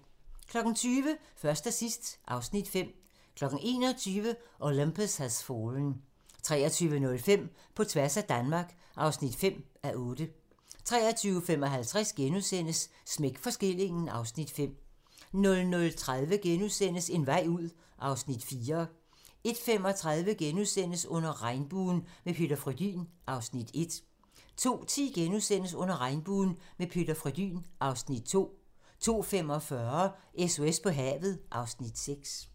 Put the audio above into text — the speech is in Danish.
20:00: Først og sidst (Afs. 5) 21:00: Olympus Has Fallen 23:05: På tværs af Danmark (5:8) 23:55: Smæk for skillingen (Afs. 5)* 00:30: En vej ud (Afs. 4)* 01:35: Under regnbuen - med Peter Frödin (Afs. 1)* 02:10: Under regnbuen - med Peter Frödin (Afs. 2)* 02:45: SOS på havet (Afs. 6)